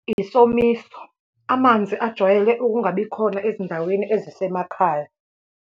Isomiso. Amanzi ajwayele ukungabikhona ezindaweni ezisemakhaya.